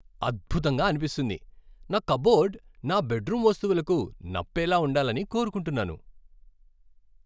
అద్భుతంగా అనిపిస్తుంది! నా కప్బోర్డ్ నా బెడ్రూమ్ వస్తువులకు నప్పేలా ఉండాలని కోరుకుంటున్నాను.